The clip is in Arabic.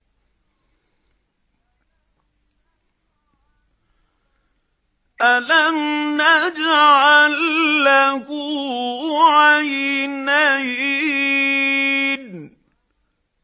أَلَمْ نَجْعَل لَّهُ عَيْنَيْنِ